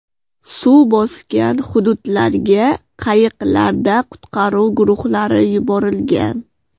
Suv bosgan hududlarga qayiqlarda qutqaruv guruhlari yuborilgan.